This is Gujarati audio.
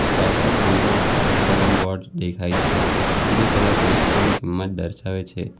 સ્ટોલ પર પંદર રૂપિયા લખેલા બોર્ડ દેખાય છે જે કદાચ વસ્તુઓની કિંમત દર્શાવે છે.